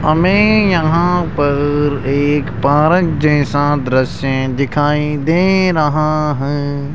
हमें यहां पर एक पार्क जैसा दृश्य दिखाई दे रहा हैं।